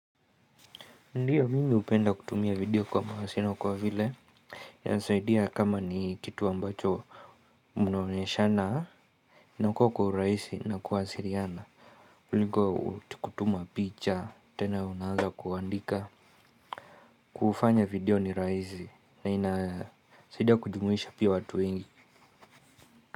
Ndiyo mimi hupenda kutumia video kwa mawasiliano kwa vile inasaidia kama ni kitu ambacho mnaoneshana inakuwa kwa urahisi na kuwasiliana. Kuliko kutuma picha tena unaanza kuandika. Kufanya video ni rahisi na inasaidia kujumuisha pia watu wengi.